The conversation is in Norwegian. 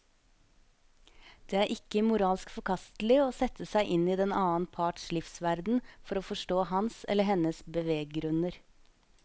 Det er ikke moralsk forkastelig å sette seg inn i den annen parts livsverden for å forstå hans eller hennes beveggrunner.